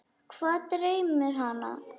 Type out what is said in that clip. Hvað dreymir hana?